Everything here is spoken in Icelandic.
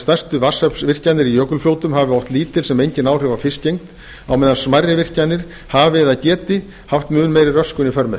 stærstu vatnsaflsvirkjanir í jökulfljótum hafi oft lítil sem engin áhrif á fiskigengd á meðan smærri virkjanir hafi eða geti haft mun meiri röskun í för með